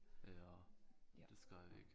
Ja det skal ikke